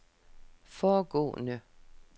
foregående